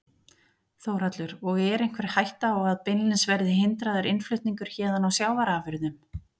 Þórhallur: Og er einhver ætta á að beinlínis verði hindraður innflutningur héðan á sjávarafurðum?